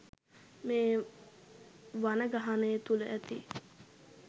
මේ වනගහනය තුළ ඇති